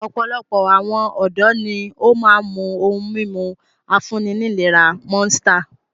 Ọ̀pọ̀lọpọ̀ awon ọ̀dọ́ ni ó máa ń mu ohun-mímu afúnni-nílera Monster.